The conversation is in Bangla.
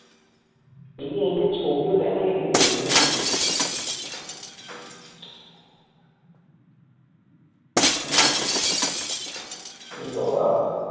এ বাবা